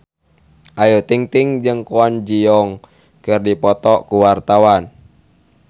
Ayu Ting-ting jeung Kwon Ji Yong keur dipoto ku wartawan